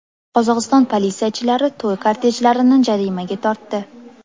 Qozog‘iston politsiyachilari to‘y kortejlarini jarimaga tortdi.